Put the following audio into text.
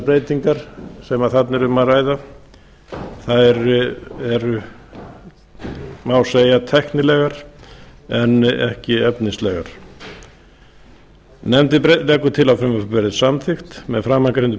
breytingar sem þarna er um að ræða eru má segja tæknilegar en ekki efnislegar nefndin leggur til að frumvarpið verði samþykkt með framangreindum